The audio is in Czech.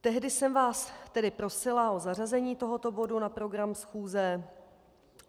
Tehdy jsem vás tedy prosila o zařazení tohoto bodu na program schůze.